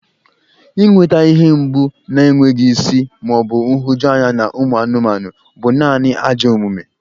Inweta ihe mgbu na-enweghị isi ma ọ bụ nhụjuanya na ụmụ anụmanụ bụ naanị ajọ omume.